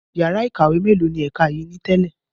Yàrá ìkàwé mélòó ni ẹ̀ka yìí ni tẹ́lẹ̀?